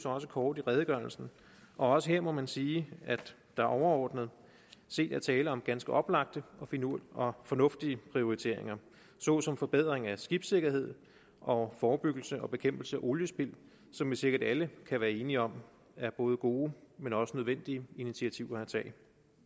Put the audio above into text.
også kort i redegørelsen og også her må man sige at der overordnet set er tale om ganske oplagte og fornuftige prioriteringer såsom forbedring af skibssikkerhed og forebyggelse og bekæmpelse af oliespild som vi sikkert alle kan være enige om er både gode men også nødvendige initiativer at tage